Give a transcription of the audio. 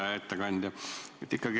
Hea ettekandja!